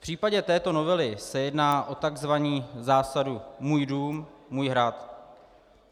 V případě této novely se jedná o takzvanou zásadu "můj dům, můj hrad".